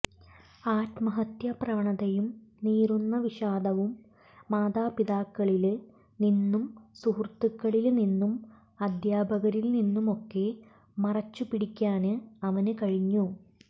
ആത്മഹത്യാ പ്രവണതയും നീറുന്ന വിഷാദവും മാതാപിതാക്കളില് നിന്നും സുഹൃത്തുക്കളില് നിന്നും അദ്ധ്യാപകരില് നിന്നുമൊക്കെ മറച്ചു പിടിക്കാന് അവന് കഴിഞ്ഞു